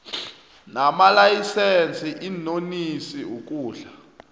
namalayisense iinonisi ukudla